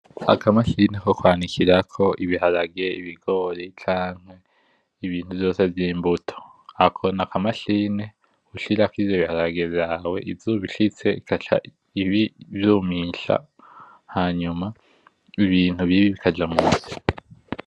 Akamashini ko kwanikirako ibiharage, ibigori canke Ibintu vyose vyimbuto ,Ako nakamashini ushirako ivyo biharage vyawe hama izuba ishitse igaca ivyumisha hanyuma Ibintu bibi bikaja musi .